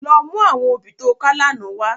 Lò mú áwòn óbì tó ká làná wá